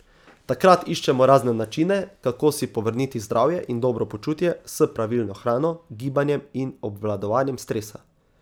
Takrat iščemo razne načine, kako si povrniti zdravje in dobro počutje s pravilno hrano, gibanjem in obvladovanjem stresa.